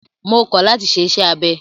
Mo kọ̀ láti ṣe iṣẹ́ abẹ!